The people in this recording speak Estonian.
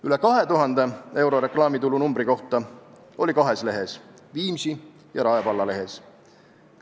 Üle 2000 euro reklaamitulu numbri kohta oli kahes lehes: Viimsi ja Rae valla lehes.